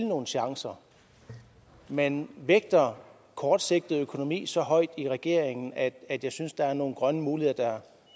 nogle chancer man vægter kortsigtet økonomi så højt i regeringen at at jeg synes der er nogle grønne muligheder